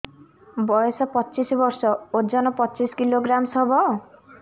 ବୟସ ପଚିଶ ବର୍ଷ ଓଜନ ପଚିଶ କିଲୋଗ୍ରାମସ ହବ